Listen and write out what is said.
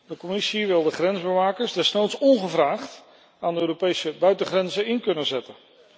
De Commissie wil de grensbewakers desnoods ongevraagd aan de Europese buitengrenzen in kunnen zetten.